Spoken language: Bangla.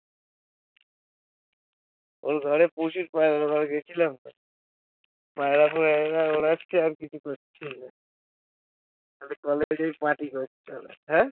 ওর ঘরে প্রচুর পায়রা গেছিলাম তো পায়রা ওড়াচ্ছে আর কিছু করছেই না খালি কলেজেই party করতো ?